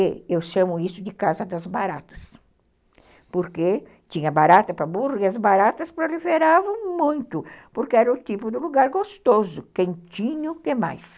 E eu chamo isso de casa das baratas, porque tinha barata para burro e as baratas proliferavam muito, porque era o tipo de lugar gostoso, quentinho demais.